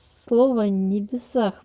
слова небесах